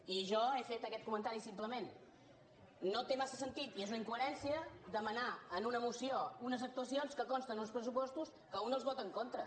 i jo he fet aquest comentari simplement no té massa sentit i és una incoherència demanar en una moció unes actuacions que consten en uns pressupostos que un els vota en contra